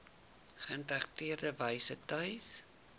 geïntegreerde wyse tuis